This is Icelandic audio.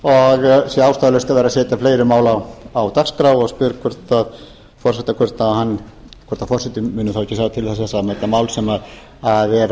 og sé ástæðulaust að vera að setja fleiri mál á dagskrá og spyr forseta hvort hann muni þá ekki sjá til þess að þetta mál sem er